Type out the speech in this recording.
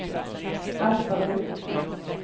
Aspabruk